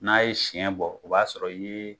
N'a ye siɲɛ bɔ, o b'a sɔrɔ i ye